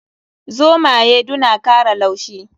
Zomaye du na kara laushi.